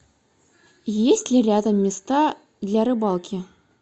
есть ли рядом места для рыбалки